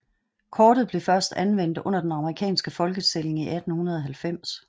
Kortet blev først anvendt under den amerikanske folketælling i 1890